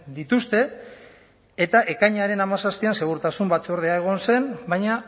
dituzte eta ekainaren hamazazpian segurtasun batzordea egon zen baina